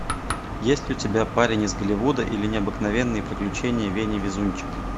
есть ли у тебя парень из голливуда или необыкновенные приключения вени везунчика